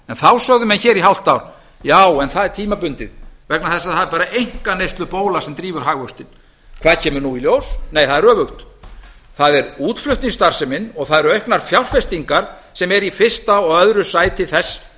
þá sögðu menn hér í hálft ár já en það er tímabundið vegna þess að það er bara einkaneyslubóla sem drífur hagvöxtinn hvað kemur nú í ljós nei það er hægt það er útflutningsstarfsemin og það eru auknar fjárfestingar sem eru í fyrsta og öðru sæti þess